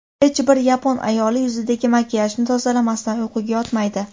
Hech bir yapon ayoli yuzidagi makiyajni tozalamasdan uyquga yotmaydi.